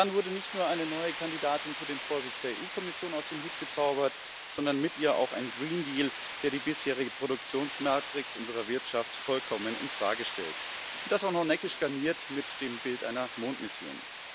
Dann wurde nicht nur eine neue Kandidatin für den Vorsitz der Kommission aus dem Hut gezaubert, sondern mit ihr auch ein Green Deal der die bisherige Produktionsmatrix unserer Wirtschaft vollkommen infrage stellt, und das auch noch neckisch garniert mit dem Bild einer Mondmission.